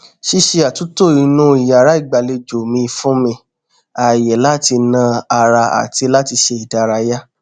ṣíṣe àtúntò inú yàrá ìgbàlejò mi fún mi ààyè láti na ara àti láti ṣe ìdárayá